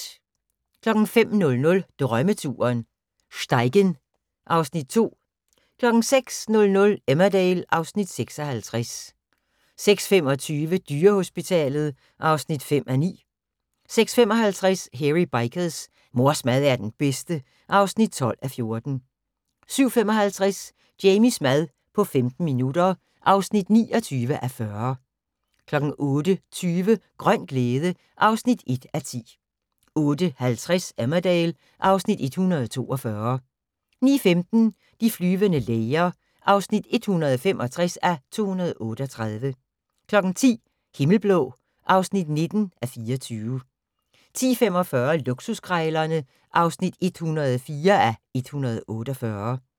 05:00: Drømmeturen: Steigen (Afs. 2) 06:00: Emmerdale (Afs. 56) 06:25: Dyrehospitalet (5:9) 06:55: Hairy Bikers: Mors mad er den bedste (12:14) 07:55: Jamies mad på 15 minutter (29:40) 08:20: Grøn glæde (1:10) 08:50: Emmerdale (Afs. 142) 09:15: De flyvende læger (165:238) 10:00: Himmelblå (19:24) 10:45: Luksuskrejlerne (104:148)